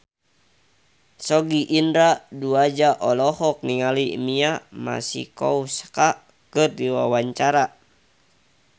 Sogi Indra Duaja olohok ningali Mia Masikowska keur diwawancara